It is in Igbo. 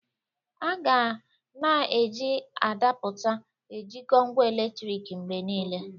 A ga na-eji adapụta ejikọọ ngwa eletriki mgbe niile.